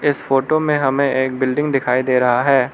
इस फोटो में हमें एक बिल्डिंग दिखाई दे रहा है।